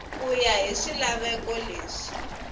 ku ya hi swilaveko leswi